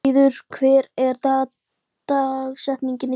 Gunnfríður, hver er dagsetningin í dag?